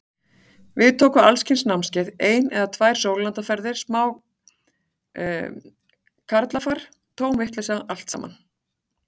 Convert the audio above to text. Við tóku alls kyns námskeið, ein eða tvær sólarlandaferðir, smá karlafar, tóm vitleysa allt saman.